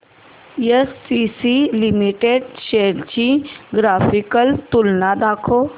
ACC limited shares ची graphical तुलना दाखव